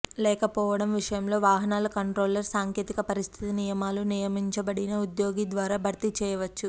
లేకపోవడం విషయంలో వాహనాల కంట్రోలర్ సాంకేతిక పరిస్థితి నియమాలు నియమించబడిన ఉద్యోగి ద్వారా భర్తీ చేయవచ్చు